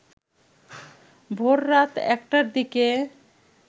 ভোররাত একটার দিকে